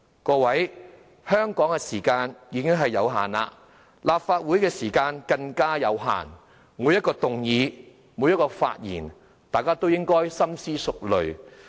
各位，香港的時間已有限，立法會的時間更有限，每項議案和發言，大家都要深思熟慮。